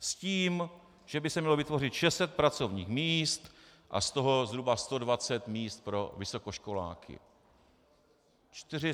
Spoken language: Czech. S tím, že by se mělo vytvořit 600 pracovních míst a z toho zhruba 120 míst pro vysokoškoláky.